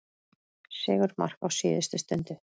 Sigurmark á síðustu stundu